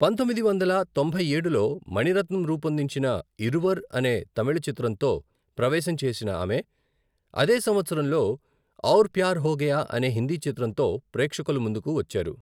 పంతొమ్మిది వందల తొంభై ఏడులో మణిరత్నం రూపొందించిన 'ఇరువర్' అనే తమిళ చిత్రంతో ప్రవేశం చేసిన ఆమె, అదే సంవత్సరంలో 'ఔర్ ప్యార్ హో గయా' అనే హిందీ చిత్రంతో ప్రేక్షకుల ముందుకు వచ్చారు.